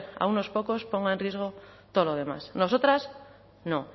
a unos pocos ponga en riesgo todo lo demás nosotras no